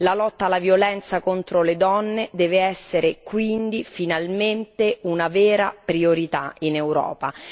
La lotta alla violenza contro le donne deve essere quindi, finalmente, una vera priorità in Europa.